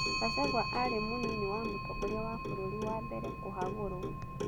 Gachagua aarĩ mũnini wa mũtongoria wa bũrũri wa mbere kũhagũrwo.